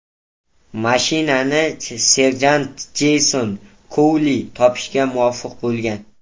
Mashinani serjant Jeyson Kouli topishga muvaffaq bo‘lgan.